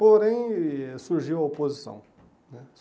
Porém, surgiu a oposição né.